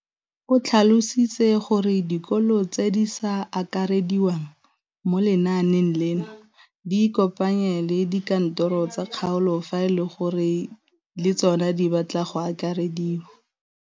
O tlhalositse gore dikolo tse di sa akarediwang mo lenaaneng leno di ikopanye le dikantoro tsa kgaolo fa e le gore le tsona di batla go akarediwa.